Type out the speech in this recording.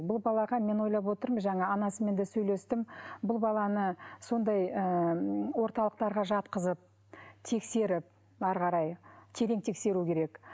бұл балаға мен ойлап отырмын жаңа анасымен де сөйлестім бұл баланы сондай ыыы орталықтарға жатқызып тексеріп әрі қарай терең тексеру керек